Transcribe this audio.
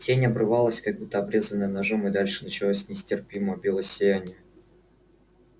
тень обрывалась как будто обрезанная ножом и дальше начиналось нестерпимое белое сияние